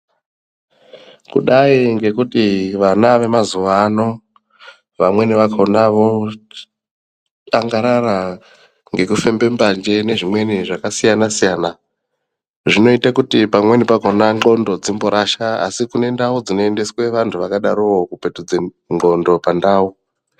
Kudai ngekuti ana vemazuvaano , vamweni vakona voangarara ngekufembe mbanje nezvimweniwo zvasiyana siyana zvinoite kuti pamweni pakona nthondo dzimborasha asi kunendau dzinoendeswa anthu akadaro kupetudza ndxondo pandau.